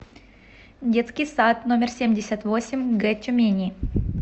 детский сад номер семьдесят восемь г тюмени